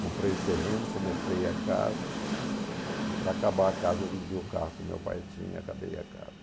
Comprei o terreno, comecei a casa e para acabar a casa eu vendi o carro que o meu pai tinha e acabei a casa.